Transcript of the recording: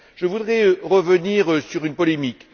Je voudrais revenir sur une polémique.